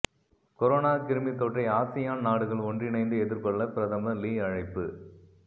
corona கிருமித்தொற்றை ASEAN நாடுகள் ஒன்றிணைந்து எதிர்கொள்ள பிரதமர் லீ அழைப்பு